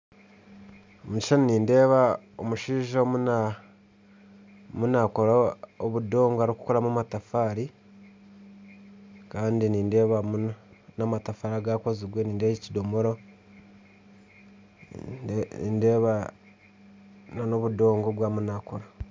Omukishushani nindeebamu omushaija arimu nakora obudongo arikukoramu amatafaari Kandi nindeebamu namatafaari agakozirwe nindeeba ekidomora nindeeba nana obudongo obu arimu naakora